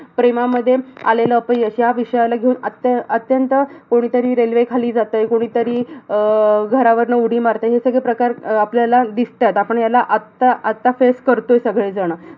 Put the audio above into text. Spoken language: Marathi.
प्रेमामध्ये आलेलं अपयश ह्या विषयाला घेऊन अत्य अत्यंत कोणीतरी अह railway खाली जातंय. कोणीतरी अह घरावरनं उडी मारतय. हे सगळे प्रकार आपल्याला दिसतंय. आपण ह्याला आता आता face करतोय सगळेजणं